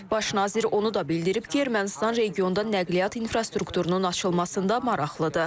Baş nazir onu da bildirib ki, Ermənistan regionda nəqliyyat infrastrukturunun açılmasında maraqlıdır.